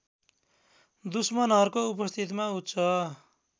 दुश्मनहरूको उपस्थितिमा उच्च